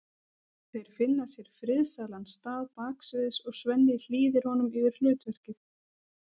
Þeir finna sér friðsælan stað baksviðs og Svenni hlýðir honum yfir hlutverkið.